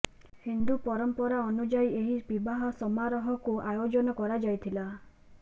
ହିନ୍ଦୁ ପରମ୍ପରା ଅନୁଯାୟୀ ଏହି ବିବାହ ସମାରୋହକୁ ଆୟୋଜନ କରାଯାଇଥିଲା